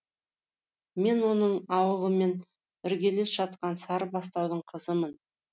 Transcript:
мен оның ауылымен іргелес жатқан сарыбастаудың қызымын